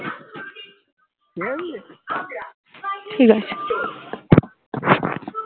ঠিক আছে